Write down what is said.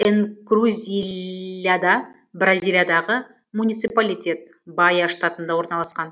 энкрузильяда бразилиядағы муниципалитет баия штатында орналасқан